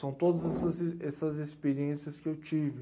São todas essas e, essas experiências que eu tive.